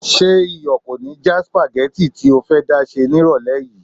Ṣé iyọ̀ kò ní já sípágì tí o fẹ́ dá sè nírọ̀lẹ́ yìí?